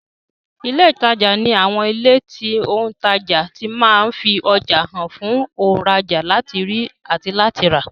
Ilé ìtajà ní àwọn ilé tí òùntajà ti ma ń fi ọjà hàn fún òùnrajà láti rí àti láti rà